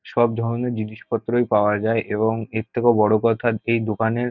সব ধরনের জিনিসপত্রই পাওয়া যায় এবং এর থেকেও বড় কথা এই দোকানের--